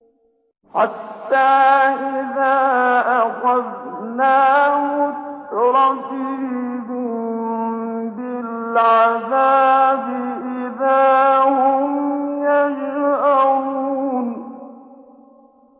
حَتَّىٰ إِذَا أَخَذْنَا مُتْرَفِيهِم بِالْعَذَابِ إِذَا هُمْ يَجْأَرُونَ